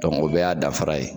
o bɛɛ y'a danfara ye.